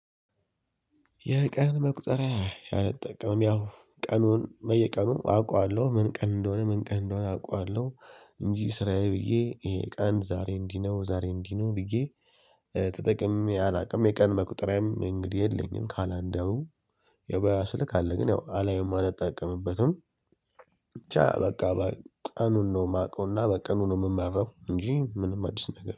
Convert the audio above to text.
የቀን መቁጠሪያ አልጠቀምም ያው ቀኑን በየቀኑ አውቃለሁ ምን ቀን እንደሆነ ምን ቀን እንደሆነ አውቃለሁ። እንጂ ስራዬ ብዬ ይሄ ቃን ዛሬ እንዲህ ነው ዛሬ እንዲህ ነው ብዬ። ተጠቅሜ አላውቅም የቀን መቁጠሪያም እንግዲህ የለኝም ካላንደሩ። የባዮ ስልክ አለ ግን ያው አላየውም አላጠቀምበትም። ብቻ በቃ ቀኑን ነው የማውቀውና በቀኑ ነው የምማረው እንጂ ምንም አዲስ ነገር